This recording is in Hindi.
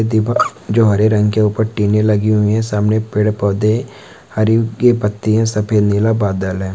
दिपक जो हरे रंग के ऊपर टिने लगी हुई हैं सामने पेड़-पौध हरी व की पत्तियाँ सफेद नीला बादल है।